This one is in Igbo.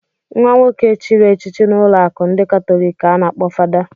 Nwa nwoke chịrị echichi n'ụlọụka ndị katọlik ka a na-akpọ fada.